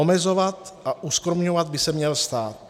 Omezovat a uskromňovat by se měl stát.